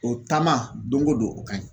O taama doŋo don o ka ɲi.